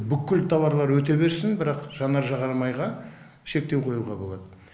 бүкіл таварлар өте берсін бірақ жанар жағармайға шектеу қоюға болады